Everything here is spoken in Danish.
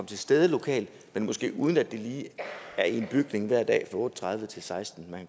til stede lokalt men måske uden at det lige er i en bygning hver dag fra otte tredive til sekstende